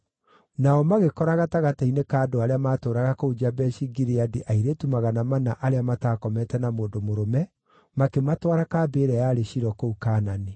Nao magĩkora gatagatĩ-inĩ ka andũ arĩa maatũũraga kũu Jabeshi-Gileadi airĩtu magana mana arĩa mataakomete na mũndũ mũrũme, makĩmatwara kambĩ ĩrĩa yarĩ Shilo kũu Kaanani.